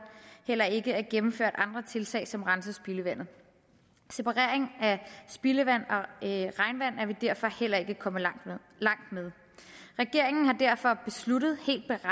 heller ikke er gennemført andre tiltag som renser spildevandet separering af spildevand og vi derfor heller ikke kommet langt med regeringen har derfor besluttet